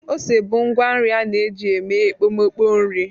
Ose bụ ngwa nri a na-eji eme ekpomeekpo nri.